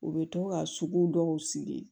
U bɛ to ka sugu dɔw sigi